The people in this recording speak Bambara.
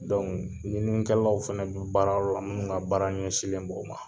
i bɛ ɲininikɛlaw fana bɛ baarayɔrɔ la ka baara ɲɛsinlen b'o ma